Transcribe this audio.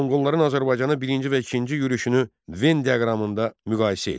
Monqolların Azərbaycana birinci və ikinci yürüşünü Ven diaqramında müqayisə et.